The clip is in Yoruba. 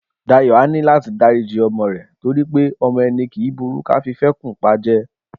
Dayọ̀ á ní láti dáríji ọmọ rẹ̀ torí pé ọmọ ẹni kì í burú ká fi fẹ́kùn pajẹ